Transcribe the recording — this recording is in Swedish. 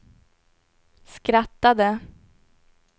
skrattade